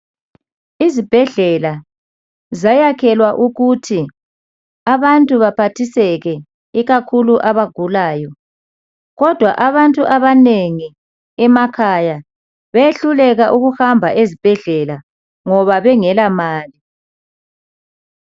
Izibhedlela zayakhelwa ukuthi abantu baphathiseke ikakhulu abagulayo kodwa abantu abanengi emakhaya bayehluleka ukuhamba ezibhedlela bengela mali.